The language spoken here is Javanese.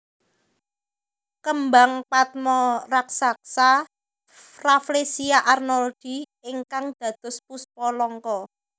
Kembang patma raksasa Rafflesia arnoldii ingkang dados Puspa Langka